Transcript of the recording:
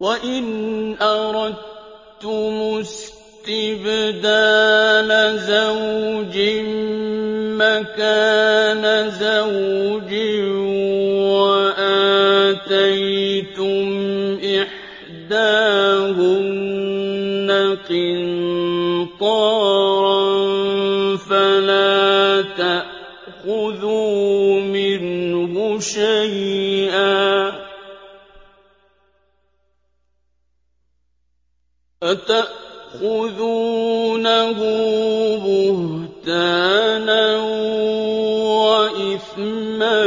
وَإِنْ أَرَدتُّمُ اسْتِبْدَالَ زَوْجٍ مَّكَانَ زَوْجٍ وَآتَيْتُمْ إِحْدَاهُنَّ قِنطَارًا فَلَا تَأْخُذُوا مِنْهُ شَيْئًا ۚ أَتَأْخُذُونَهُ بُهْتَانًا وَإِثْمًا